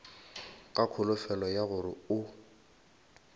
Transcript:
ka kholofelo ya gore o